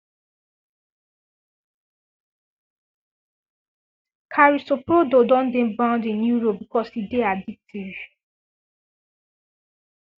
carisoprodol don dey banned in europe because e dey addictive